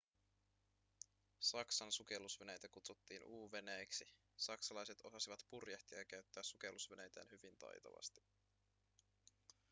saksan sukellusveneitä kutsuttiin u-veneiksi saksalaiset osasivat purjehtia ja käyttää sukellusveneitään hyvin taitavasti